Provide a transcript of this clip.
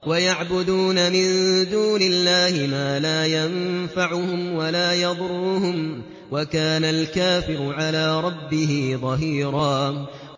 وَيَعْبُدُونَ مِن دُونِ اللَّهِ مَا لَا يَنفَعُهُمْ وَلَا يَضُرُّهُمْ ۗ وَكَانَ الْكَافِرُ عَلَىٰ رَبِّهِ ظَهِيرًا